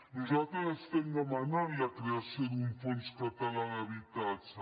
nosaltres estem demanant la creació d’un fons català d’habitatge